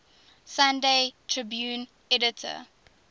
sunday tribune editor